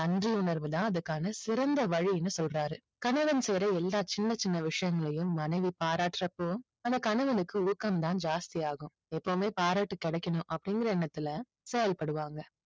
நன்றி உணர்வு தான் அதுக்கான சிறந்த வழின்னு சொல்றாரு. கணவன் செய்ற எல்லா சின்ன சின்ன விஷயங்களையும் மனைவி பாராட்டுறப்போ அந்த கணவனுக்கு ஊக்கம் தான் ஜாஸ்தி ஆகும். எப்பவுமே பாராட்டு கிடைக்கணும் அப்படிங்கிற எண்ணத்துல செயல்படுவாங்க.